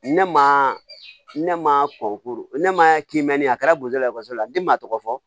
Ne ma ne ma kɔn ne ma kimɛ a kɛra botola ekɔliso la den ma tɔgɔ fɔ